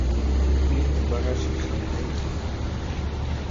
фильм барашек шон найти